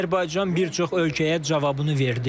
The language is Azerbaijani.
Azərbaycan bir çox ölkəyə cavabını verdi.